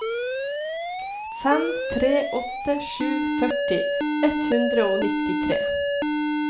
fem tre åtte sju førti ett hundre og nittitre